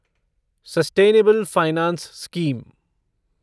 sustainable finance scheme